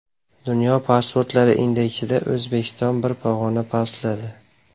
Dunyo pasportlari indeksida O‘zbekiston bir pog‘ona pastladi.